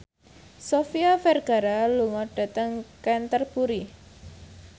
Sofia Vergara lunga dhateng Canterbury